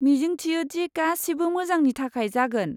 मिजिंथियो दि गासिबो मोजांनि थाखाय जागोन।